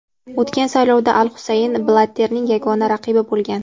O‘tgan saylovda al Husayn Blatterning yagona raqibi bo‘lgan.